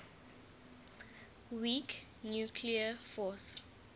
weak nuclear force